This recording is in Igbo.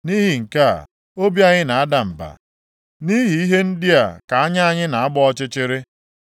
Nʼihi nke a, obi anyị na-ada mba, nʼihi ihe ndị a ka anya anyị na-agba ọchịchịrị.